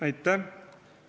Aitäh!